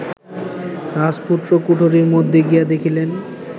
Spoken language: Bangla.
রাজপুত্র কুঠরির মধ্যে গিয়া দেখিলেন